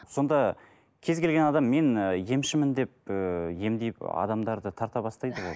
сонда кез келген адам мен ы емшімін деп ыыы емдеп адамдарды тарта бастайды ғой